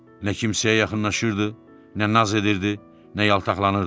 Nə kimsəyə yaxınlaşırdı, nə naz edirdi, nə yaltaqlanırdı.